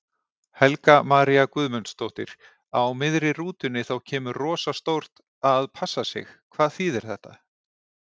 Helga María Guðmundsdóttir: Á miðri rútunni þá kemur rosa stórt.að passa sig, hvað þýðir þetta?